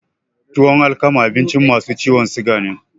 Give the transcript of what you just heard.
Tuwan alkama abinci masu ciwon suga ne